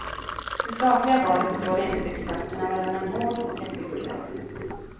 Det statliga valet står enligt experterna mellan en hård och en mjuk väg.